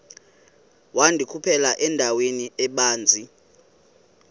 wandikhuphela endaweni ebanzi